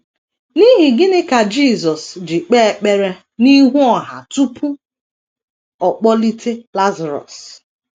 N’ihi gịnị ka Jisọs ji kpee ekpere n’ihu ọha tupu ọ kpọlite Lazarọs?